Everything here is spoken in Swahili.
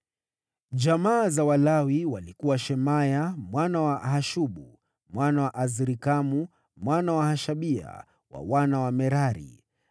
Jamaa za Walawi walikuwa: Shemaya, mwana wa Hashubu, mwana wa Azrikamu, mwana wa Hashabia, wa wana wa Merari.